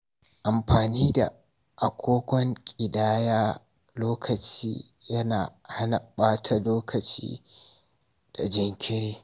Amfani da agogon ƙidaya lokaci yana hana ɓata lokaci da jinkiri.